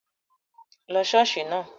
Lọ ṣọ́ọ̀ṣì náà!